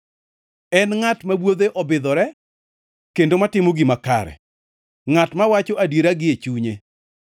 En ngʼat ma wuodhe obidhore kendo matimo gima kare, ngʼat mawacho adiera gi e chunye